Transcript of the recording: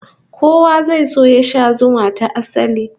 Kowa zai so ya sha zuma ta asali